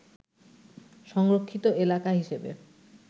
সংরক্ষিত এলাকা হিসেবে